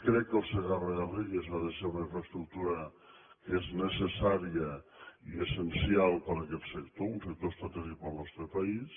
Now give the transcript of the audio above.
crec que el segarra garrigues ha de ser una infraestructura que és necessària i essencial per a aquest sector un sector estratègic per al nostre país